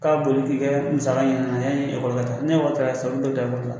K'a boli k'i kɛ musaka ɲini a la sanni ekɔli ka ta ni ekɔli tara